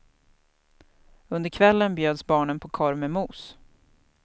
Under kvällen bjöds barnen på korv med mos.